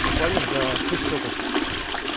буквально за шесть шотов